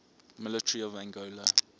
military of angola